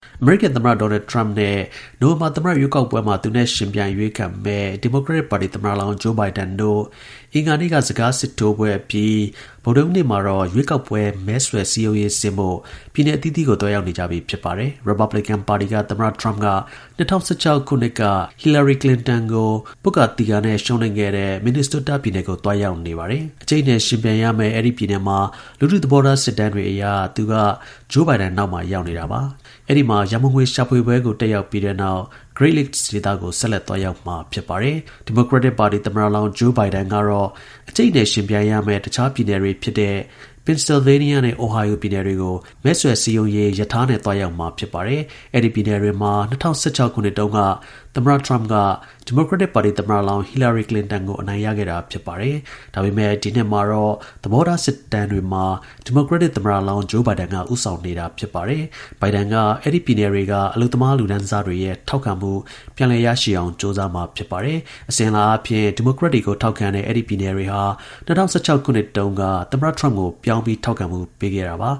အမေရိကန်သမ္မတ ဒေါ်နယ်ထရမ့်နဲ့ နိုဝင်ဘာ သမ္မတ ရွေးကောက်ပွဲမှာ သူနဲ့ ယှဉ်ပြိုင်အရွေးခံမယ် ဒီမိုကရက်တစ်ပါတီ သမ္မတလောင်း Joe Biden တို့ အင်္ဂါနေ့က စကားစစ်ထိုးပွဲ အပြီး ဗုဒ္ဓဟူးနေ့မှာတော့ ရွေးကောက်ပွဲ မဲဆွယ် စည်းရုံးရေးဆင်းဖို့ ပြည်နယ် အသီးသီးကို သွားရောက်နေကြပြီ ဖြစ်ပါတယ်။ ရစ်ပတ်ဘလင်ကန် ပါတီက သမ္မတ ထရမ့်က ၂၀၁၆ ခုနှစ်က သူ ပွတ်ကာသီကာ ရှုံးနိမ့်ခဲ့တဲ့ Minnesota ပြည်နယ်ကို သွားရောက်နေပါတယ်။ အကြိတ်အနယ် ယှဉ်ပြိုင်ရမယ့် အဲဒီ ပြည်နယ်မှာ လူထုသဘောထား စစ်တမ်းတွေအရ သူက Joe Biden နောက်မှာ ရောက်နေတာပါ။ အဲဒီက ရန်ပုံငွေ ရှာဖွေပွဲကို တက်ရောက်ပြီးတဲ့နောက် Great Lakes ဒေသကို ဆက်လက် သွားရောက်မှာ ဖြစ် ပါတယ်။ ဒီမိုကရက်တစ်ပါတီ သမ္မတလောင်း Joe Biden ကတော့ အကြိတ်အနယ် ယှဉ်ပြိုင်ရမယ့် တခြား ပြည်နယ်တွေ ဖြစ်တဲ့ Pennsylvania နဲ့ Ohio ပြည်နယ်တွေကို မဲဆွယ် စည်းရုံးရေး ရထားနဲ့ သွားရောက်မှာ ဖြစ်ပါတယ်။ အဲဒီ ပြည်နယ်တွေမှာ ၂၀၁၆ ခုနှစ်တုန်းက သမ္မတ ထရမ့်က ဒီမိုကရက်တစ်ပါတီ သမ္မတလောင်း ဟီလာရီ ကလင်တန်ကို အနိုင်ရခဲ့တာ ဖြစ်ပါတယ်။ ဒါပေမဲ့ ဒီနှစ်မှာတော့ သဘောထား စစ်တမ်းတွေမှာ ဒီမိုကရက်တစ်ပသမ္မတလောင်း Joe Biden က ဦးဆောင်နေတာပါ။ Biden က အဲဒီ ပြည်နယ်တွေက အလုပ်သမား လူတန်းစားတွေရဲ့ ထောက်ခံမှု ပြန်လည်ရရှိ အောင် ကြိုးစားမှာ ဖြစ်ပါတယ်။ အစဉ်အလာအားဖြင့် ဒီမိုကရက်တွေကို ထောက်ခံတဲ့ အဲဒီ ပြည်နယ်တွေဟာ ၂၀၁၆ ခုနှစ်တုန်းက သမ္မတ ထရမ့်ကို ပြောင်းပြီး ထောက်ခံမှုပေးခဲ့တာပါ